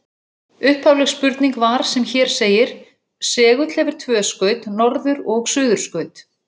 Upphafleg spurning var sem hér segir: Segull hefur tvö skaut, norður- og suðurskaut.